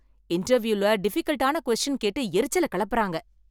இன்டர்வியூல டிஃபீக்கல்ட்டான கொஸ்டின் கேட்டு எரிச்சல கெளப்புறாங்க